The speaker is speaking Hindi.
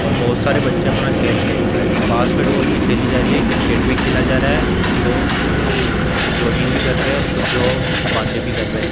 और बहोत सारे बच्चे अपना खेल खेल रहे हैं बास्केट बॉल भी खेली जा रही है क्रिकेट भी खेला जा रहा है कुछ लोग जॉगिंग भी कर रहे हैं और कुछ लोग बातें भी कर रहे --